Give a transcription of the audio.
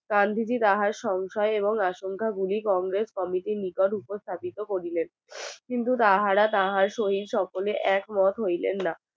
গান্ধীজির তাহার সংখ্যায় এবং আশংকায় গুলি কংগ্রেস কমিটির নিকট উপর স্থাপিত করিলেন তাহারা তাহার সহিত সকলে এক মত হইলেন না।